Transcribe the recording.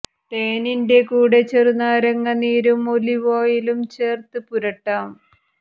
തേനിന്റെ കൂടെ ചെറുനാരങ്ങ നീരും ഓലിവ് ഓയിലും ചേര്ത്ത് പുരട്ടാം